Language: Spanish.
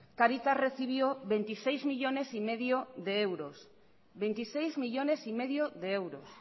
cáritas recibió veintiséis millónes y medio de euros